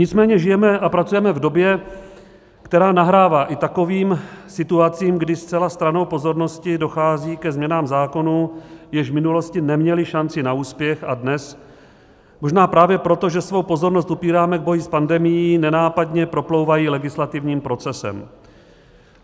Nicméně žijeme a pracujeme v době, která nahrává i takovým situacím, kdy zcela stranou pozornosti dochází ke změnám zákonů, jež v minulosti neměly šanci na úspěch, a dnes možná právě proto, že svou pozornost upíráme k boji s pandemií, nenápadně proplouvají legislativním procesem.